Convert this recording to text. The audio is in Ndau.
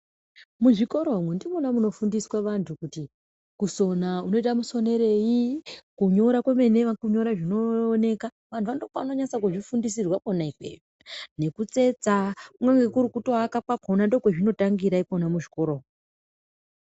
Muzvikora umu ndimwona munofundiswa vantu kuti kusona unoita musonerei, kunyora kwemene wakunyora zvinooneka. Vantu va ndikwona kwavanonasa kuzvifundisirwa kwona ikweyo. Nekutsetsa kunyangwe nekutoaka kwakhona ndikwona kwazvinotangira ikwona muzvikora umu.